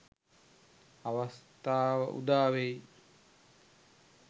අවස්ථාව උදාවේ